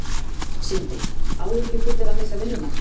Sindri: Áhyggjufullur að missa vinnuna?